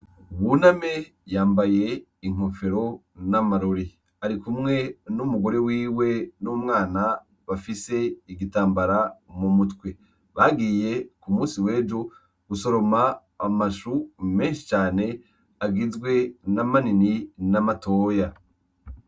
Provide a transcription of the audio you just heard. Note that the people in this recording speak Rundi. Buname yambaye inkofero n'amarori arikumwe n'umugore wiwe n'umwana bafise igitambara mu mutwe bagiye ku musi wejo gusoroma amashu meshi cane agizwe n'amanini n'amatoya.